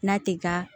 N'a ti ka